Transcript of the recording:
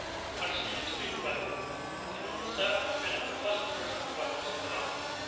are still extremely welcome and can only serve to benefit customers and providers in the long run.